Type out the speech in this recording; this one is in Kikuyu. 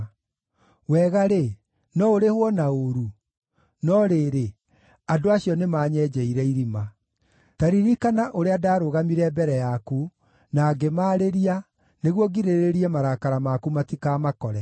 Wega-rĩ, no ũrĩhwo na ũũru? No rĩrĩ, andũ acio nĩmanyenjeire irima. Ta ririkana ũrĩa ndaarũgamire mbere yaku, na ngĩmarĩrĩria, nĩguo ngirĩrĩrie marakara maku matikamakore.